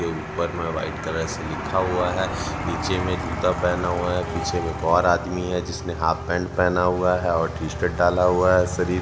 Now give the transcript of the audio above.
के ऊपर में वाइट कलर से लिखा हुआ है नीचे में जूता पहना हुआ है पीछे में एक और आदमी है जिसने हाफ पैंट पहेना हुआ है और टी शर्ट डाला हुआ है शरीर--